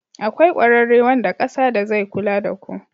Akwai ƙwararre wanda ƙasa da zai kula ku.